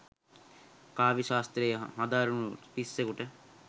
කාව්‍ය ශාස්ත්‍රය හදාරනු රිස්සෙකුට